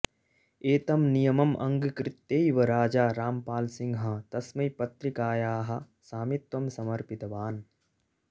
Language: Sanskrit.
एतं नियमम् अङ्गीकृत्यैव राजा रामपालसिंहः तस्मै पत्रिकायाः स्वामित्वं समर्पितवान्